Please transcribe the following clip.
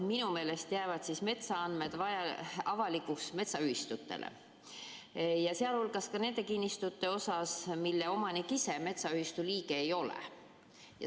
Minu meelest jäävad eelnõu kohaselt metsaandmed avalikuks metsaühistutele, sh ka nende kinnistute puhul, mille omanik ise metsaühistu liige ei ole.